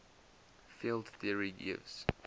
field theory gives